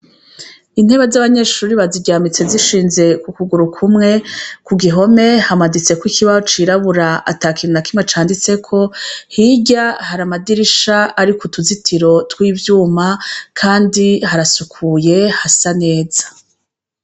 Intebe z'abanyeshururi baziryamitse zishinze ku kuguru kumwe ku gihome hamaditseko ikibaocirabura ata kinu nakimwe canditseko hirya hariamadirisha ari ku tuzitiro tw'ivyuma, kandi harasukuye hasa neza.